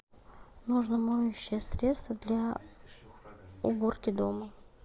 нужно моющее средство для уборки дома